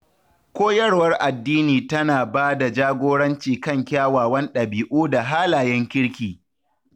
Koyarwar addini tana ba da jagoranci kan kyawawan dabi’u da halayen kirki.